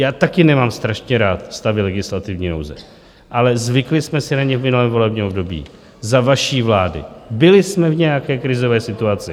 Já taky nemám strašně rád stavy legislativní nouze, ale zvykli jsme si na ně v minulém volebním období za vaší vlády, byli jsme v nějaké krizové situaci.